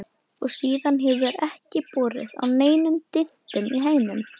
Og síðan hefur ekki borið á neinum dyntum í hænunum.